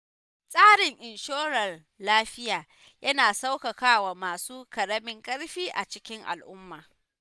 Tsarin inshorar lafiya, yana sauƙaƙawa masu ƙaramin ƙarfi a cikin al'umma.